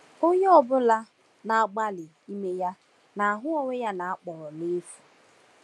Onye ọ bụla na-agbalị ime ya na-ahụ onwe ya na-akpọrọ n’efu.